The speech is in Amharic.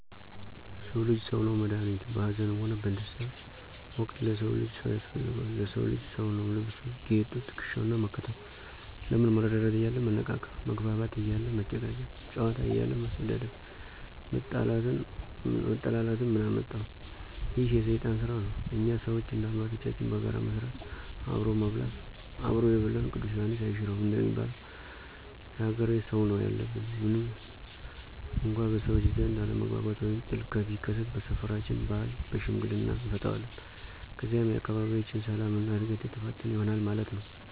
ለሰዉ ልጅ ሰዉ ነዉ መድኋኒቱ፣ በአዘንም ሆነ በደስታ ወቅት ለሰው ልጅ ሰው ያስፈልገዋል። ለሰዉ ልጅ ሰዉ ነዉ ልብሱ፣ ጌጡ፣ ትክሻዉ እና መከተው። ለምን መረዳዳት እያለ መነቃቀፍ፣ መግባባት እያለ መጨቃጨቅ፣ ጨዋታ እያለ መሰዳደብ መጠላላትን ምን አመጠው፤ ይህ የሰይጣን ስራ ነው። እኛ ሰዎች እንደ አባቶቻችን በጋራ መስራት፣ አብሮ መብላት "አብሮ የበላን ቅዱስ ዬሐንስ አይሽረውም"እንደሚለዉ የአገሬ ሰውነው ያለብን። ምንም እንኳ በሰዎች ዘንድ አለመግባባት ወይም ጥል ቢከሰት በሰፈራችን ባህል በሽምግልና አንፈተዋለን። ከዚያም የአካባቢያችን ሰላም እና እድገት የተፋጠነ ይሆናል ማለት ነው።